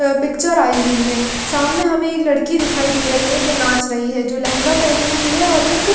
picture आई हुई है सामने हमें एक लड़की दिखाई दे रही है जो नाच रही है जो लहंगा पहनी हुई है और एक--